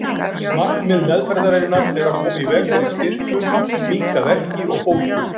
Markmið meðferðarinnar er að koma í veg fyrir stirðnun, minnka verki og bólgu.